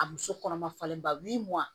A muso kɔnɔma falen ba min